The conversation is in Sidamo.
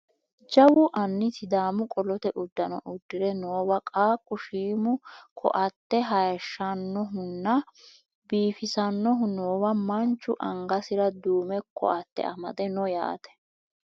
jawu anni sidaamu qolote uddano uddire noowa qaaqqu shiimu ko"atte hayeehshsannohunna biifisannohu noowa manchu angasira duume ko"atte amde no yaate